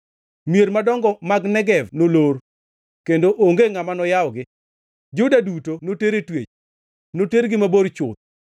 Mier madongo man Negev nolor, kendo onge ngʼama noyawgi. Juda duto noter e twech, notergi mabor chuth.